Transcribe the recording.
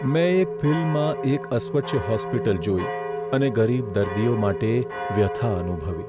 મેં એક ફિલ્મમાં એક અસ્વચ્છ હોસ્પિટલ જોઈ અને ગરીબ દર્દીઓ માટે વ્યથા અનુભવી.